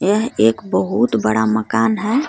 यह एक बहुत बड़ा मकान है.